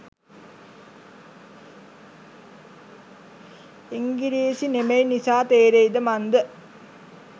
ඉංගිරීසි නෙමෙයි නිසා තේරෙයිද මන්ද